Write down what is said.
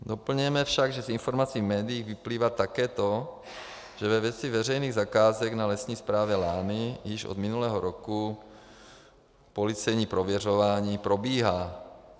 Doplňujeme však, že z informací médií vyplývá také to, že ve věci veřejných zakázek na Lesní správě Lány již od minulého roku policejní prověřování probíhá.